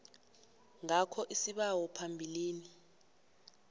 ngakho isibawo phambilini